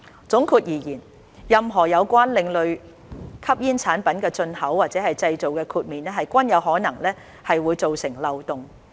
總括而言，任何有關另類吸煙產品的進口或製造的豁免，均有可能會造成漏洞。